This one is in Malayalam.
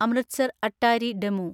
അമൃത്സർ അട്ടാരി ഡെമു